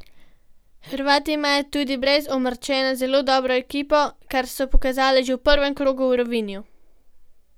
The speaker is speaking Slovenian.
Hrvati imajo tudi brez Omrčena zelo dobro ekipo, kar so pokazali že v prvem krogu v Rovinju.